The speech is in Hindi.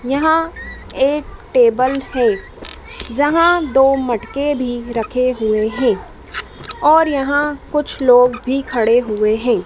यहां एक टेबल है जहां दो मटके भी रखे हुए हैं और यहां कुछ लोग भी खड़े हुए हैं।